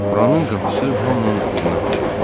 Buranın qapısı hamının üzünə açıqdır.